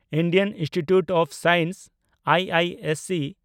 Indian Institute of Science (IISc)